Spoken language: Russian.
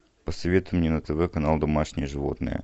посоветуй мне на тв канал домашние животные